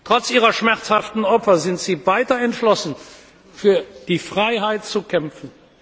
Trotz ihrer schmerzhaften Opfer sind sie weiter entschlossen, für die Freiheit zu kämpfen.